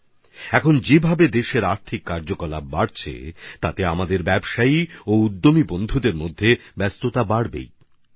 এখন যেভাবে দেশে অর্থনৈতিক গতিবিধি বাড়ছে তাতে আমাদের ব্যবসায়ী ও শিল্পোদ্যোগী বন্ধুদের ব্যস্ততাও অনেক বাড়ছে